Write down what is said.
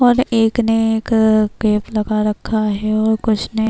اور ایک نے ایک کیپ لگا رکھا ہے -اور کچھ نے--